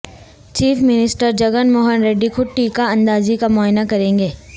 chief minister Jagan Mohan Reddy خود ٹیکہ اندازی کا معائنہ کریں گے